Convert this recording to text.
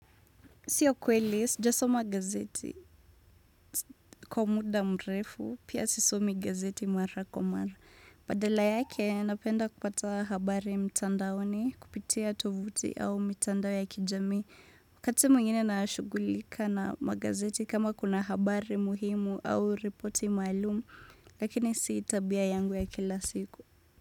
Siyo kweli, sijasoma gazeti, kwa muda mrefu, pia sisomi gazeti mara kwa mara. Badala yake, napenda kupata habari mtandaoni, kupitia tovuti au mitandao ya kijamii. Wakati mwingine nashughulika na magazeti kama kuna habari muhimu au ripoti maalumu, lakini si tabia yangu ya kila siku.